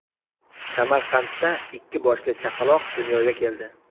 Samarqandda ikki boshli chaqaloq dunyoga keldi.